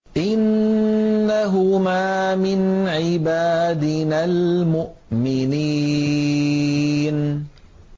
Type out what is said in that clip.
إِنَّهُمَا مِنْ عِبَادِنَا الْمُؤْمِنِينَ